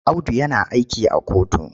Audu yana aiki a kotu.